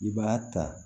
I b'a ta